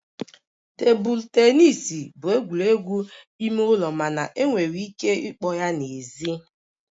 Tebụl tenis bụ egwuregwu ime ụlọ mana enwere ike ịkpọ ya n'èzí